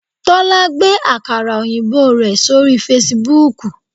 Tólá gbé àkàrà òyìnbó rẹ̀ sórí Fasibúùkù